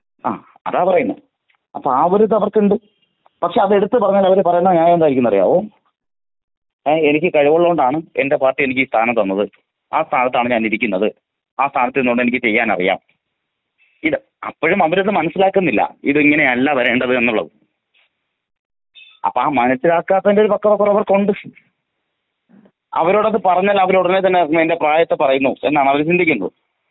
അതാ പറയുന്നേ അപ്പോ ആ ഒരു ഇത് അവർക്ക് ഇണ്ട്. പക്ഷെ അത് എടുത്തു പറഞ്ഞാൽ അവര് പറയുന്ന ഞ്യായം എന്തായിക്കുമെന്ന് അറിയാമോ? ഏഹ് എനിക്ക് കഴിവ് ഉള്ളോണ്ടാണ് എന്റെ പാർട്ടി എനിക്ക് ഈ സ്ഥാനം തന്നത്. ആ സ്ഥാനത്താണ് ഞാൻ ഇരിക്കുന്നത്. ആ സ്ഥാനത്ത് ഇരുന്ന് കൊണ്ട് എനിക്ക് ചെയ്യാൻ അറിയാം. ഇത് അപ്പഴും അവരിത് മനസിലാകുന്നില്ല. ഇത് ഇങ്ങനെയല്ല വരേണ്ടത് എന്നുള്ളത്. അപ്പോ ആ മനസിലാക്കാത്തതിന്റെ ഒരു പക്വതക്കുറവ് അവർക്കുണ്ട്. അവരോട് അത് പറഞ്ഞാൽ അവര് ഉടനെ തന്നെ എന്റെ പ്രായത്തെ പറയുന്നു എന്നാണ് അവര് ചിന്തിക്കുന്നത്.